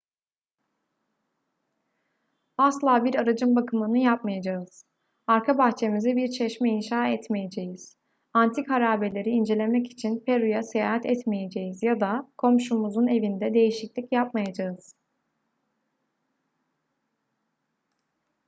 asla bir aracın bakımını yapmayacağız arka bahçemize bir çeşme inşa etmeyeceğiz antik harabeleri incelemek için peru'ya seyahat etmeyeceğiz ya da komşumuzun evinde değişiklik yapmayacağız